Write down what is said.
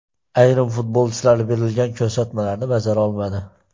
Ayrim futbolchilar berilgan ko‘rsatmalarni bajara olmadi.